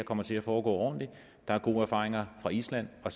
kommer til at foregå ordentligt der er gode erfaringer fra island og